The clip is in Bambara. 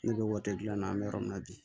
Ne bɛ waati dilan na an bɛ yɔrɔ min na bi